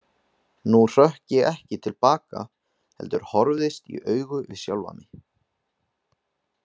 Nú hrökk ég ekki til baka heldur horfðist í augu við sjálfan mig.